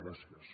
gràcies